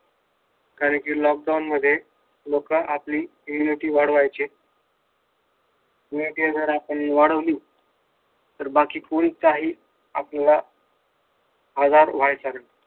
कारण कि लॉकडाउन मध्ये लोक आपली इम्युनिटी वाढवायचे ते जर आपण वाढवली तर बाकी कोणी काही आजार व्हायच